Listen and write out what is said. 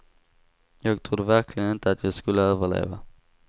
Jag trodde verkligen inte att jag skulle överleva.